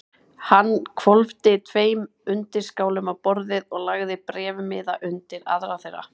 Hann hvolfdi tveim undirskálum á borðið og lagði bréfmiða undir aðra þeirra.